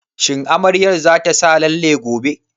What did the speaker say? Shin amaryar za ta sa lalle gobe?